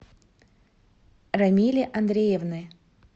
рамили андреевны